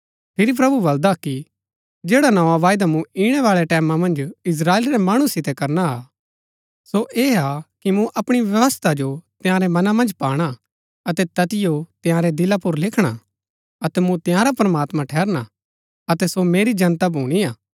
फिरी प्रभु बलदा कि जैड़ा नोआ वायदा मूँ इणै बाळै टैमां मन्ज इस्त्राएल रै मणु सितै करना हा सो ऐह हा कि मूँ अपणी व्यवस्था जो तंयारै मनां मन्ज पाणा अतै तैतिओ तंयारै दिला पुर लिखणा अतै मूँ तंयारा प्रमात्मां ठहरना अतै सो मेरी जनता भूणी हा